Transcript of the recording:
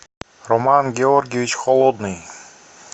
роман георгиевич холодный